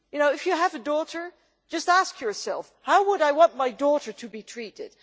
If you have a daughter, just ask yourself how you would want your daughter to be treated.